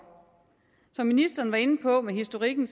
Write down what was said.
som ministeren var inde på med historikken